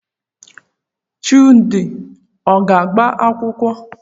Chude ọ ga-agba akwụkwọ?